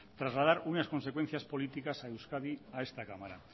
trasladar unas consecuencias políticas a euskadi a esta cámara